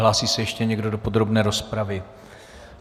Hlásí se ještě někdo do podrobné rozpravy?